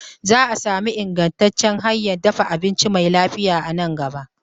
Zaa sami ingantacciyar hanyan dafa abinci mai lafiya a nan gaba